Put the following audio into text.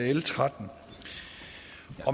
l trettende